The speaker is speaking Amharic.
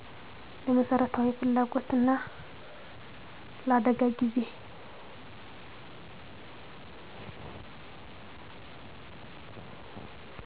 ለመሠረታዊ ፍላጎትና ለአደጋ ጊዜ